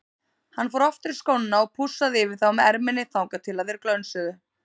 Hann fór aftur í skóna og pússaði yfir þá með erminni þangað til þeir glönsuðu.